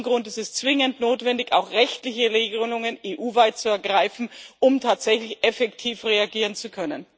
Aus diesem Grund ist es zwingend notwendig, EU weit auch rechtliche Regelungen zu ergreifen, um tatsächlich effektiv reagieren zu können.